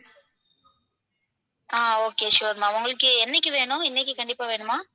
ஆஹ் okay sure ma'am உங்களுக்கு என்னைக்கு வேணும்? இன்னைக்கு கண்டிப்பா வேணுமா?